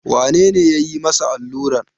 Wane ne ya yi masa alluran?